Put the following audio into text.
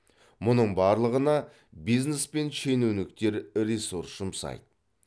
мұның барлығына бизнес пен шенеуніктер ресурс жұмсайды